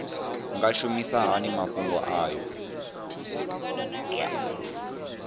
nga shumisa hani mafhumgo aya